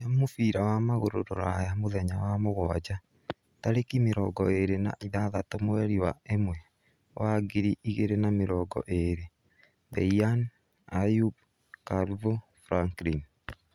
Mbitika cia mũbira wa magũrũ Rũraya mũthenya wa mũguaja, tarekĩ mĩrongoĩĩri na ithathatu mweri wa ĩmwe wa ngiri igĩrĩ na mĩrongo ĩĩrĩ: Beian, Ayub, Calvo, Franklin,